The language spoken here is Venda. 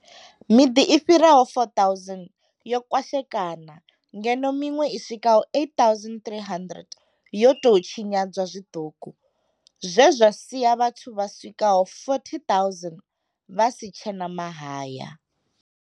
Miḓi i fhiraho 4000 yo kwashekana ngeno miṅwe i swikaho 8 300 yo tou tshinyadzwa zwiṱuku, zwe zwa sia vhathu vha swikaho 40 000 vha si tshe na mahaya.